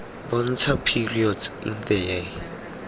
bontsha periods in the year